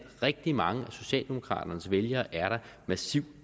rigtig mange af socialdemokraternes vælgere er der massiv